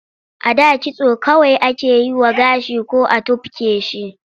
A da kitso kawai ake yi wa gashi ko a tufke shi.